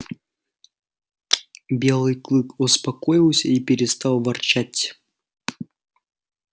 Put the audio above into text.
белый клык успокоился и перестал ворчать